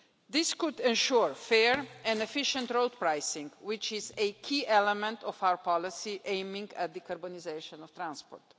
This could ensure fair and efficient road pricing, which is a key element of our policy aiming at the decarbonisation of transport.